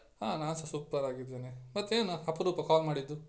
ಹಾ ನಾನ್ಸ super ಆಗಿದ್ದೇನೆ ಮತ್ತೇನು ಅಪರೂಪ call ಮಾಡಿದ್ದು?